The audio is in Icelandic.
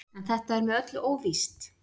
En þetta er með öllu óvíst.